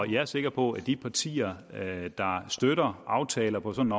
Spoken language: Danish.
jeg er sikker på at de partier der støtter aftaler på sådan